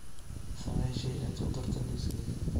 samee shay aad ku darto liiskayga